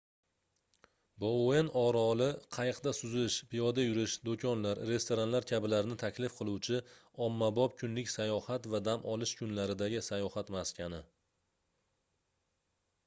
bouen oroli qayiqda suzish piyoda yurish doʻkonlar restoranlar kabilarni taklif qiluvchi ommabop kunlik sayohat va dam olish kunlaridagi sayohat maskani